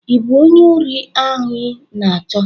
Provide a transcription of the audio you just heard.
ị bụ onye ori anyị na-achọ?